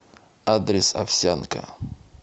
адрес овсянка